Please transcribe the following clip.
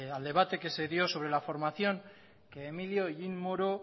al debate que se dio sobre la formación que emilio hellín moro